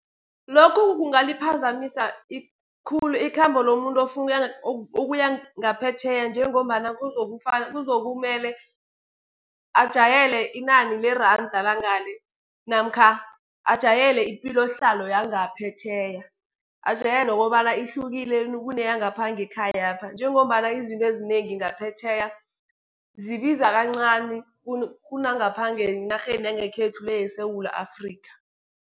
Lokhu kungaliphazamisa khulu ikhambo lomuntu ofuna ukuya ngaphetjheya, njengombana kuzokumele ajayele inani leranda langale, namkha ajayele ipilohlalo yangaphetjheya. Ajayele kobana ihlukile kuneyangapha ngekhayapha, njengombana izinto ezinengi ngaphetjheya, zibiza kancani kunangapha ngenarheni yangekhethu le, yeSewula Afrika.